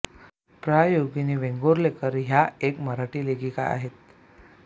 प्रा योगिनी वेंगुर्लेकर ह्या एक मराठी लेखिका आहेत